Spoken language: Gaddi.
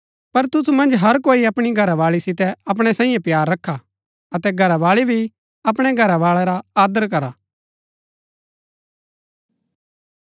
पर तुसु मन्ज हर कोई अपणी घरावाळी सितै अपणै सांईये प्‍यार रखा अतै घरावाळी भी अपणै घरवाळै रा आदर करा